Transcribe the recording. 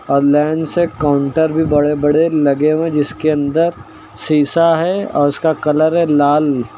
और लाइन से काउंटर भी बड़े बड़े लगे हुए हैं जिसके अंदर शीशा है और उसका कलर है लाल।